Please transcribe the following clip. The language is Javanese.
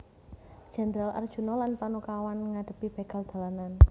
Jendral Arjuna lan Panakawan ngadhepi begal dalanan